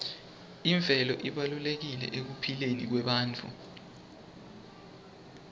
imvelo ibalulekile ekuphileni kwebantfu